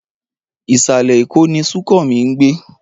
Ìsàlẹ̀ Èkó ni Súnkànmí ń gbé